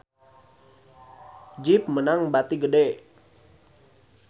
Jeep meunang bati gede